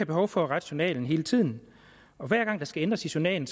behov for at rette journalen hele tiden for hver gang der skal ændres i journalen